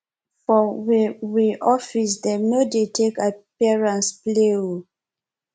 for we we office dem no dey take appearance play o